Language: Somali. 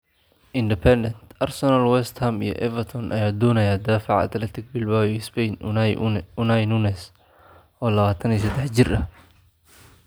(Independent) Arsenal, West Ham iyo Everton ayaa doonaya daafaca Athletic Bilbao iyo Spain Unai Nunez, oo 23 jir ah.